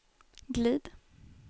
glid